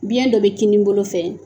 Biyɛn dɔ bɛ kinin bolo fɛ